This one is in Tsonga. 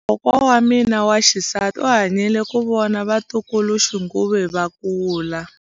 Kokwa wa mina wa xisati u hanyile ku vona vatukuluxinghuwe va kula.